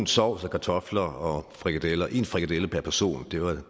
sovs og kartofler og frikadeller én frikadelle per person det var